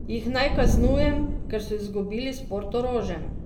Jih naj kaznujem, ker so izgubili s Portorožem?